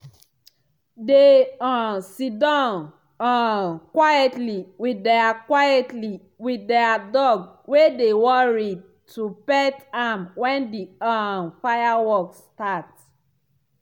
they um siddon um quietly with their quietly with their dog wey dey worried to pet am when the um fireworks start.